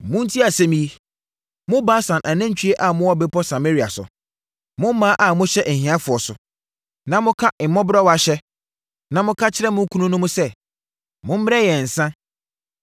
Montie asɛm yi, mo Basan “anantwie” a mowɔ Bepɔ Samaria so, mo mmaa a mohyɛ ahiafoɔ so, na moka mmɔborɔwa hyɛ na moka kyerɛ mo kununom sɛ, “Mommrɛ yɛn nsã!”